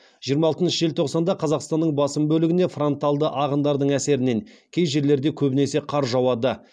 жиырма алтыншы желтоқсанда қазақстанның басым бөлігіне фронталды ағындарың әсерінен кей жерлерде көбінесе қар жауады